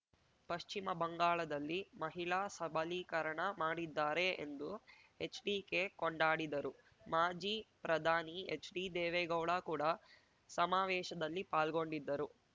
ಪಶ್ಚಿಮಬಂಗಾಳದಲ್ಲಿ ಮಹಿಳಾ ಸಬಲೀಕರಣ ಮಾಡಿದ್ದಾರೆ ಎಂದು ಎಚ್‌ಡಿಕೆ ಕೊಂಡಾಡಿದರು ಮಾಜಿ ಪ್ರಧಾನಿ ಎಚ್‌ಡಿ ದೇವೇಗೌಡ ಕೂಡ ಸಮಾವೇಶದಲ್ಲಿ ಪಾಲ್ಗೊಂಡಿದ್ದರು